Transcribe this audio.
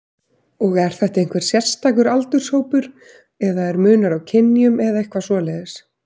Og er þetta einhver sérstakur aldurshópur eða er munur á kynjum eða eitthvað svoleiðis?